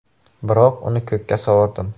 Biroq uni ko‘kka sovurdim.